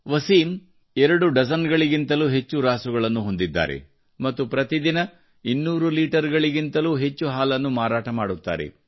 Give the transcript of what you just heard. ವಸಿಂ ಎರಡು ಡಜನ್ಗಿಂತಲೂ ಹೆಚ್ಚು ರಾಸುಗಳನ್ನು ಹೊಂದಿದ್ದಾರೆ ಮತ್ತು ಪ್ರತಿದಿನ ಇನ್ನೂರು ಲೀಟರ್ಗಿಂತಲೂ ಹೆಚ್ಚು ಹಾಲನ್ನು ಮಾರಾಟ ಮಾಡುತ್ತಾರೆ